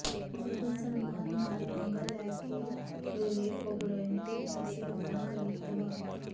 ਜਦੋਂ ਸਲਮਾਨ ਨਾਲ ਪੰਗਾ ਲੈ ਕੇ ਵਿਵੇਕ ਓਬਰਾਏ ਨੇ ਕੀਤਾ ਸੀ ਆਪਣਾ ਕਰੀਅਰ ਤਬਾਹ